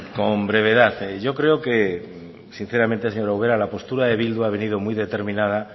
con brevedad yo creo que sinceramente señora ubera la postura de bildu ha venido muy determinada